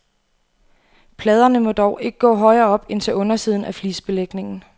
Pladerne må dog ikke gå højere op end til undersiden af flisebelægningen.